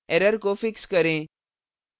error को fix करें